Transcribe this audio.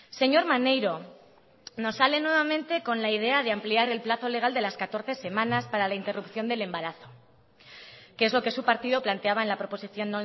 señor maneiro nos sale nuevamente con la idea de ampliar el plazo legal de las catorce semanas para la interrupción del embarazo que es lo que su partido planteaba en la proposición